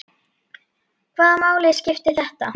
Hvaða máli skipti þetta?